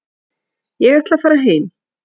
Ég ætla að fara heim.